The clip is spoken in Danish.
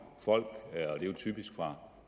folk typisk fra